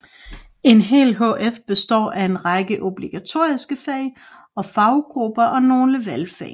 En hel hf består af en række obligatoriske fag og faggrupper og nogle valgfag